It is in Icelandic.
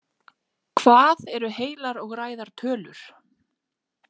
Hvað eru heilar og ræðar tölur?